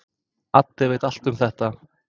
Addi veit allt um það.